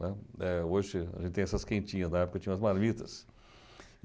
Né. Hoje a gente tem essas quentinhas, na época tinha as marmitas.